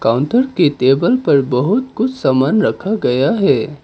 Counter के table पर बहुत कुछ सामान रखा गया है।